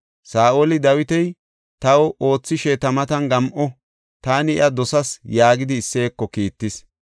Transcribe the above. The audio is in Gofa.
Saa7oli, “Dawiti taw oothishe ta matan gam7o; taani iya dosas” yaagidi Isseyeko kiittis.